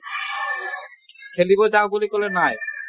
খেলিব যাওঁ বুলি কলে নাই